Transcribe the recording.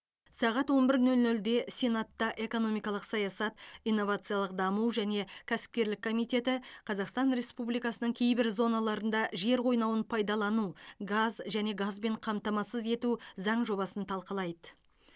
сағат он бір нөл нөлде сенатта экономикалық саясат инновациялық даму және кәсіпкерлік комитеті қазақстан республикасының кейбір зоналарында жер қойнауын пайдалану газ және газбен қамтамасыз ету заң жобасын талқылайды